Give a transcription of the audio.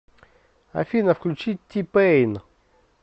афина включи ти пэйн